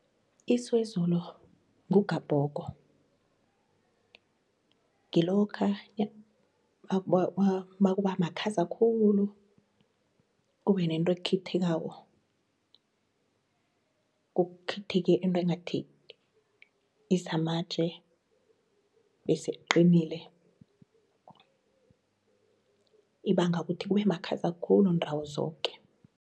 Isiwezulu ngugabhogo, ngilokha makubamakhaza khulu kube nento ekhithikako kuthithike into ngathi isamatje bese iqinile, ibanga ukuthi kube makhaza khulu ndawo zoke.